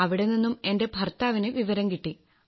അവിടെ നിന്നും എന്റെ ഭർത്താവിന് വിവരം കിട്ടി